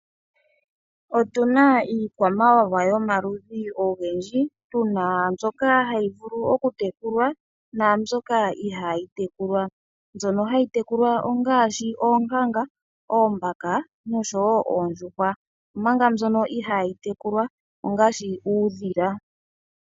Otuna iikwamawawa yomaludhi ogendji, tuna mbyoka hayi vulu okutekulwa, naambyoka ihaayi tekulwa. Mbyono hayi tekulwa ongaashi oonkanga, oombaka, noshowo oondjuhwa. Omanga mbyono ihaayi tekulwa ongaashi uudhila.